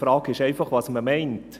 Die Frage ist einfach, was man meint.